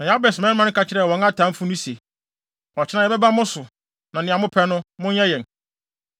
Na Yabes mmarima ka kyerɛɛ wɔn atamfo no se, “Ɔkyena yɛbɛba mo so, na nea mopɛ no, monyɛ yɛn.”